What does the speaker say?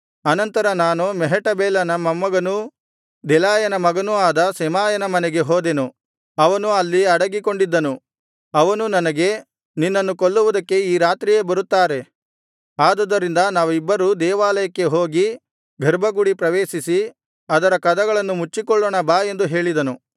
ಆನಂತರ ನಾನು ಮೆಹೇಟಬೇಲನ ಮೊಮ್ಮಗನೂ ದೆಲಾಯನ ಮಗನೂ ಆದ ಶೆಮಾಯನ ಮನೆಗೆ ಹೋದೆನು ಅವನು ಅಲ್ಲಿ ಅಡಗಿಕೊಂಡಿದ್ದನು ಅವನು ನನಗೆ ನಿನ್ನನ್ನು ಕೊಲ್ಲುವುದಕ್ಕೆ ಈ ರಾತ್ರಿಯೇ ಬರುತ್ತಾರೆ ಆದುದರಿಂದ ನಾವಿಬ್ಬರೂ ದೇವಾಲಯಕ್ಕೆ ಹೋಗಿ ಗರ್ಭಗುಡಿ ಪ್ರವೇಶಿಸಿ ಅದರ ಕದಗಳನ್ನು ಮುಚ್ಚಿಕೊಳ್ಳೋಣ ಬಾ ಎಂದು ಹೇಳಿದನು